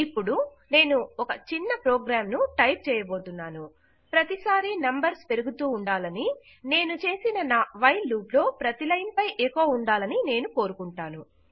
ఇపుడు నేను ఒక చిన్న ప్రోగ్రాం ను టైప్ చేయబోతున్నాను ప్రతీ సారీ నంబర్స్ పెరుగుతూ ఉండాలని నేను చేసిన నా వైల్ లూప్ లో ప్రతీ లైన్ పై ఎకొ ఉండాలనీ నేను కోరుకుంటాను